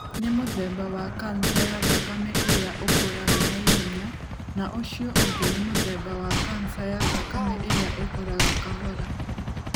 Nĩ mũthemba wa kanca ya thakame ĩrĩa ũkũraga naihenya na ũcio ũngĩ nĩ mũthemba wa kanca ya thakame ĩrĩa ĩkũraga kahora.